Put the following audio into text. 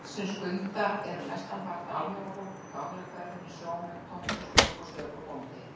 Þeir sem skulda eru mestanpart almúgafólk í gamla hverfinu, sjómenn, tómthúsfólk og stöku bóndi.